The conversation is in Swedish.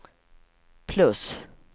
plus